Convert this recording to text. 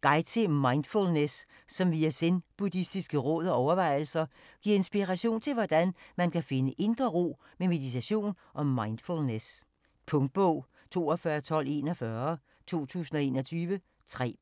Guide til mindfulness som via zenbuddistiske råd og overvejelser giver inspiration til hvordan man kan finde indre ro med meditation og mindfulness. Punktbog 421241 2021. 3 bind.